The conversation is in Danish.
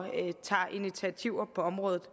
tager initiativer på området